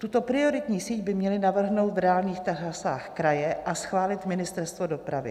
Tuto prioritní síť by měly navrhnout v reálných trasách kraje a schválit Ministerstvo dopravy.